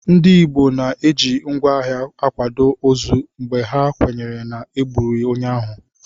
Ndị Igbo na-eji ngwá agha akwado ozu mgbe ha kwenyere na e gburu onye ahụ